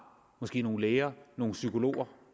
måske nogle læger nogle psykologer